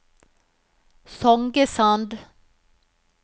Songesand